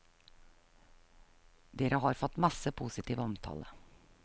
Dere har fått masse positiv omtale.